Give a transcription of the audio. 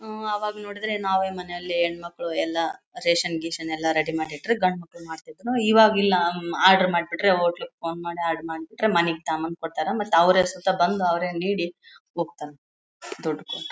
ಹ್ಮ್ಮ್ ಅವಾಗ ನೋಡಿದ್ರೆ ನಾವೇ ಹೆಣ್ಣಮಕ್ಕಳು ಎಲ್ಲ ರೇಷನ್ ಗಿಶನ್ ಎಲ್ಲ ರೆಡಿ ಮಾಡಿ ಇಟ್ಟ್ರೆ ಗಂಡು ಮಕ್ಕಳು ಇವಾಗ್ ಇಲ್ಲ ಆರ್ಡರ್ ಮಾಡ್ಬಿಟ್ರೆ ಹೋಟೆಲ್ ಗೆ ಫೋನ್ ಮಾಡಿ ಆರ್ಡರ್ ಮಾಡ್ಬಿಟ್ರೆ ಮನೆಗೆ ತಗೊಂಡು ಬಂದು ಕೊಡತ್ತಾರೆ ಮತ್ತ್ ಅವರೇ ಸ್ವತಹ ಬಂದು ಅವರೇ ನೀಡಿ ಹೋಗ್ತಾರಾ ದುಡ್ಡ್ ಕೊಟ್ರ--